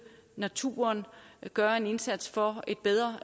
naturen og gøre en indsats for et bedre